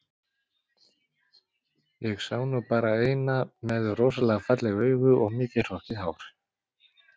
Ég sá nú bara eina með rosalega falleg augu og mikið hrokkið hár